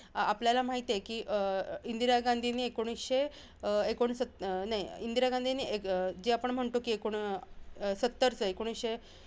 आपल्याला माहिती आहे की, अं इंदिरा गांधीनी एकोणिसशे अं एकोण सत्त अं नाही इंदिरा गांधींनी अं एकोण जी आपण म्हणतो की, एकोण सत्तरएकोणिसशे